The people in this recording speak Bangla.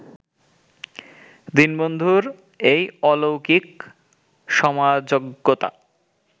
দীনবন্ধুর এই অলৌকিক সমাজজ্ঞতা